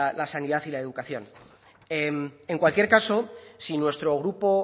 la sanidad y la educación en en cualquier caso si nuestro grupo